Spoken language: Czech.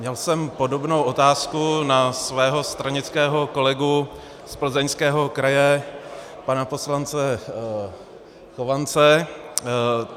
Měl jsem podobnou otázku na svého stranického kolegu z Plzeňského kraje pana poslance Chovance.